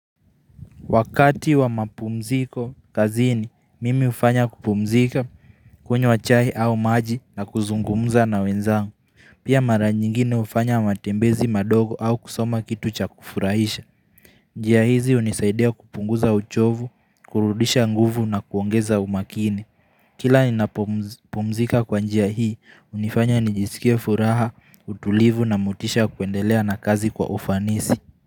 Wakati wa mapumziko kazini, mimi hufanya kupumzika, kunywa chai au maji na kuzungumza na wenzangu. Pia mara nyingine ufanya matembezi madogo au kusoma kitu cha kufurahisha. Njia hizi hunisaidia kupunguza uchovu, kurudisha nguvu na kuongeza umakini. Kila ninapopumzika kwa njia hii, hunifanya nijisikia furaha, utulivu na motisha ya kuendelea na kazi kwa ufanisi.